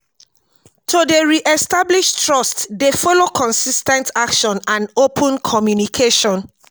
to dey re-establish trust dey follow consis ten t action and open communication.